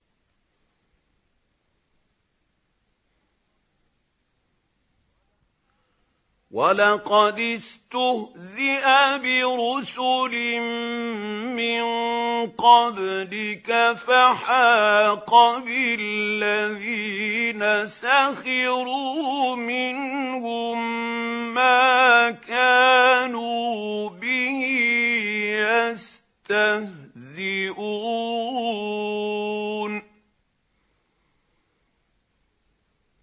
وَلَقَدِ اسْتُهْزِئَ بِرُسُلٍ مِّن قَبْلِكَ فَحَاقَ بِالَّذِينَ سَخِرُوا مِنْهُم مَّا كَانُوا بِهِ يَسْتَهْزِئُونَ